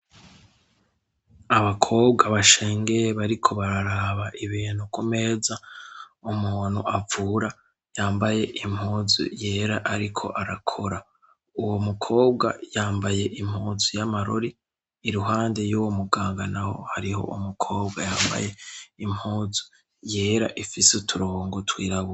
abakobwa bashengeye bariko bararaba ibintu kumeza umuntu avura yambaye impuzu yera ariko arakora uwo mukobwa yambaye impuzu y'amarori iruhande y'uwo muganga naho hariho umukobwa yambaye impuzu yera ifise uturongo twirabe